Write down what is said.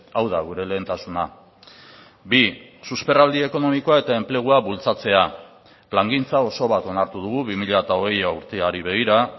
hau da gure lehentasuna bi susperraldi ekonomikoa eta enplegua bultzatzea plangintza oso bat onartu dugu bi mila hogei urteari begira